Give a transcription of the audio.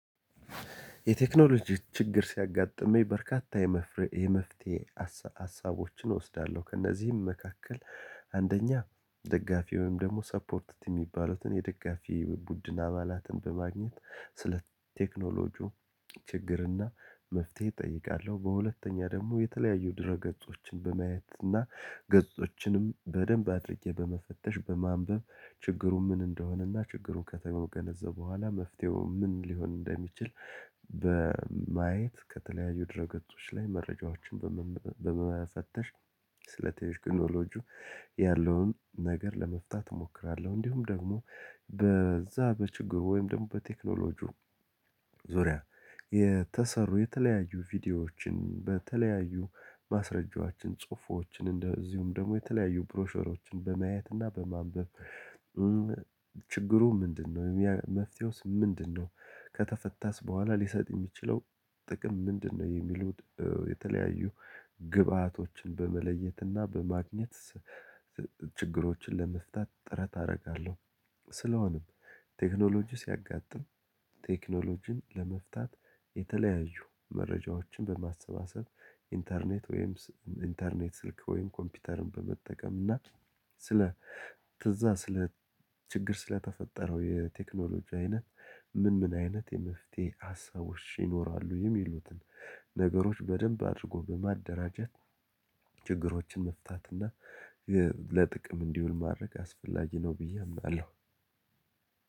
የቴክኖሎጂ ችግር ሲያጋጥመኝ በርካታ የመፍትሄ ሀሳቦችን እወስዳለሁ። ከነዚህም መካከል አንደኛ ደጋፊ ወይም ደግሞ ሰፖርት ቲም ሚባሉትን የደጋፊ ቡድን አባላትን በማግኘት ስለቴክኖሎጂው ችግር እና መፍተሄ እጠይቃለሁ። በሁለተኛ ደግሞ የተለዩ ድረገጾችን በማየት እና ገጾችንም በደንብ አድርጌ በመፈተሽ በማንበብ ችግሩ ምን እንደሆነ እና ችግሩ ከተገነዘቡ በኋላ መፍተሄው ምን ሊሆን እንደሚችል በማየት ከተለያዩ ድረገጾች ላይ መረጃዎችን በመፈተሽ ስለ ቴክኖሎጂው ያለውን ነገር ለመፍታት እሞክራለሁ። እንዲሁም ደግሞ በዛ በችግሩ ወይም ደግሞ በቴክኖሎጂው ዙሪያ የተሰሩ የተለዩ ቪዲዮዎችን በተለዩ ማስረጃዎችን፣ ጽሁፎችን እንደዚህም ደግሞ የተለዩ ፕሮሰሶችን በማየት እና በማንበብ ችግሩ ምንድን ነው፣ መፍተሄውስ ምንድን ነው፣ ከተፈታስ በኋላ ሊሰጥ የሚችለው ጥቅም ምንድን ነው የሚሉት የተለዩ ግባቶችን በመለየት እና በማግኘት ችግሮችን ለመፍታት ጥረት አደርጋለሁ። ስለሆነም ቴክኖሎጂ ሲያጋጥም ቴክኖሎጂን ለመፍታት የተለዩ መረጃዎችን በማሰባሰብ፣ ኢንተርኔት ስልክ ወይም ኮምፒተርን በመጠቀም እና ስለ እዛ ስለ ችግር ስለተፈጠረው የቴክኖሎጂው አይነት ምን ምን አይነት የመፍተሄ አሳቦች ይኖራሉ የሚሉትን ነገሮች በደንብ አድርጎ በማደራጃት ችግሮችን መፍታት እና ለጥቅም እንዲሆን ማድረግ አስፈላጊ ነው ብዬ አምናለው።